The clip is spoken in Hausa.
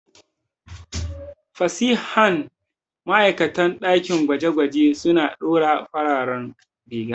Fasihan ma'aikatan ɗakin gwaje-gwaje suna ɗora farar riga.